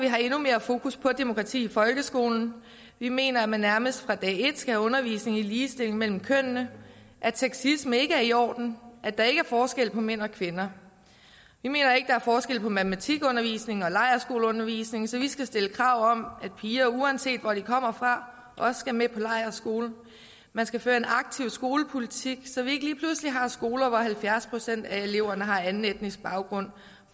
er endnu mere fokus på demokrati i folkeskolen vi mener at man nærmest fra dag et skal have undervisning i ligestilling mellem kønnene at sexisme ikke er i orden at der ikke er forskel på mænd og kvinder vi mener ikke der er forskel på matematikundervisning og lejrskoleundervisning så vi skal stille krav om at piger uanset hvor de kommer fra også skal med på lejrskole man skal føre en aktiv skolepolitik så vi ikke lige pludselig har skoler hvor halvfjerds procent af eleverne har anden etnisk baggrund